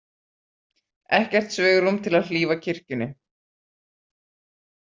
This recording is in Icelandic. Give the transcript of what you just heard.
Ekkert svigrúm til að hlífa kirkjunni